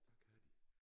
Der kan de